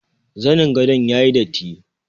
Zanin gadon yayi datti.